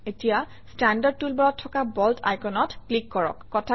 এতিয়া ষ্টেণ্ডাৰ্ড টুলবাৰত থকা বোল্ড আইকনত ক্লিক কৰক